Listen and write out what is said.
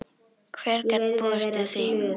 Hver gat búist við því?